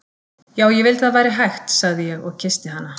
Já, ég vildi að það væri hægt, sagði ég og kyssti hana.